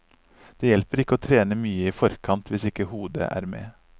Det hjelper ikke å trene mye i forkant hvis ikke hodet er med.